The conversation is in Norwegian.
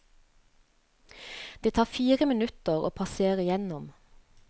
Det tar fire minutter å passere igjennom.